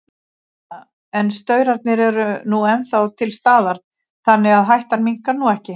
Jóhanna: En staurarnir eru nú ennþá til staðar, þannig að hættan minnkar nú ekki?